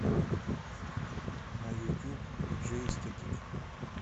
на ютуб диджей эстетик